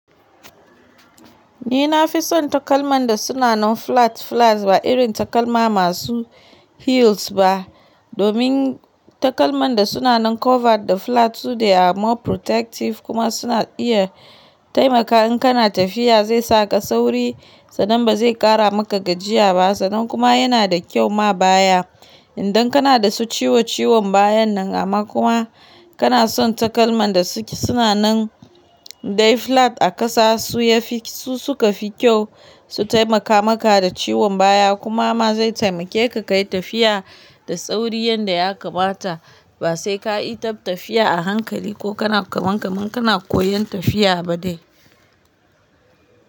Ni na fi son takalman da suna nan flat flats ba irin takalma masu heels ba domin takalman da suna nan covered da flats su dai more protective kuma suna iya taimaka in kana tafiya zai saka sauri sannan ba zai ƙara maka gajiya ba sannan kuma yana da kyau ma baya idan kana da su ciwo ciwon bayan nan amma kuma kana son takalman da suke suna nan dai flat a ƙasa su yafi su suka fi kyau su taimaka maka da ciwon baya kuma ma zai taimake ka ka yi tafiya da sauri yanda ya kamata ba sai ka yi taf tafiya a hankali ko kana kaman kaman kana koyan tafiya ba dai.